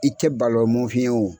I tɛ balɔmofiye o